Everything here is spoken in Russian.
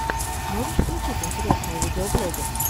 можешь включить интересные видеоблоги